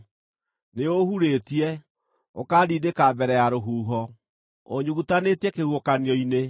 Nĩũũhurĩtie, ũkaandindĩka mbere ya rũhuho; ũũnyugutanĩtie kĩhuhũkanio-inĩ.